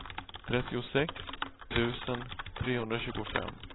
trettiosex tusen trehundratjugofem